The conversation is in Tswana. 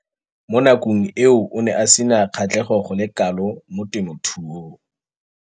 Mo nakong eo o ne a sena kgatlhego go le kalo mo temothuong.